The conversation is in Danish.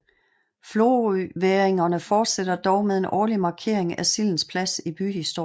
Florøværingerne fortsætter dog med en årlig markering af sildens plads i byhistorien